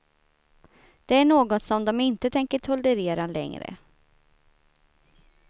Det är något som de inte tänker tolerera längre.